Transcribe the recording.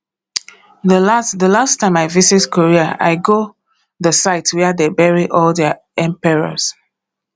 the last the last time i visit korea i go the site where dey bury all their emperors